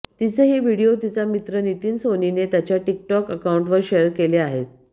तिचे हे व्हिडीओ तिचा मित्र नितिन सोनीनं त्याच्या टीक टॉक अकाउंटवर शेअर केले आहेत